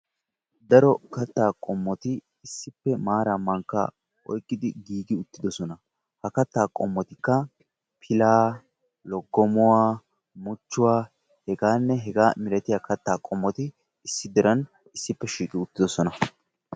Daro kattaa qommoti issippe maaraa mankkaa oykkidi giigi uttidosona. Ha kattaa qommotikka pilaa, loggomuwa, muchchuwa hegaanne hegaa malatiya kattaa qommoti issidiran issippe shiiqi uttidosona.